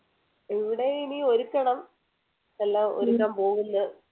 ഇവിടെ ഇനി ഒരുക്കണം എല്ലാം ഒരുക്കാൻ പോവുന്നു